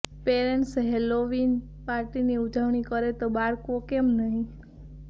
parents Halloween પાર્ટીની ઉજવણી કરે તો બાળકો કેમ નહીં